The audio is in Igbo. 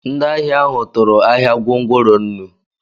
Ndị ahịa ahụ tụrụ ahia gwongworo nnu